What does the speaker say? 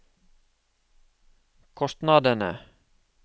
kostnadene